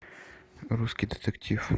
русский детектив